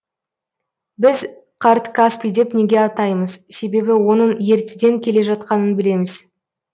біз қарт каспий деп неге атаймыз себебі оның ертеден келе жатқанын білеміз